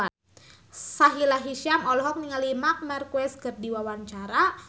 Sahila Hisyam olohok ningali Marc Marquez keur diwawancara